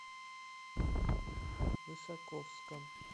высоковском